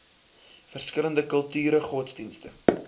verskillende kulture godsdienste